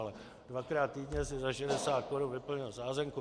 Ale dvakrát týdně si za 60 korun vyplnil sázenku.